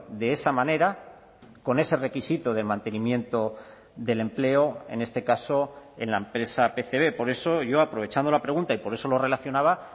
de esa manera con ese requisito del mantenimiento del empleo en este caso en la empresa pcb por eso yo aprovechando la pregunta y por eso lo relacionaba